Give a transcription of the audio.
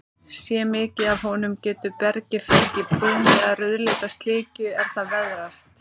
Sé mikið af honum, getur bergið fengið brún- eða rauðleita slikju er það veðrast.